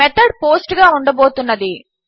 method post గా ఉండబోతున్నది